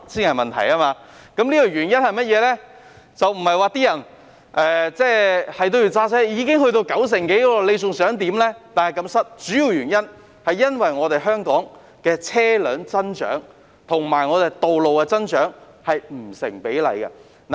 原因不是市民堅持要開車，現已有九成多人使用公共交通工具，比例難以再提高，主要原因是香港車輛的增長與道路的增長不成比例。